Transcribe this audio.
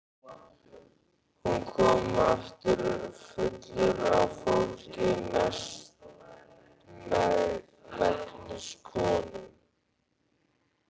Hann kom aftur fullur af fólki, mestmegnis konum.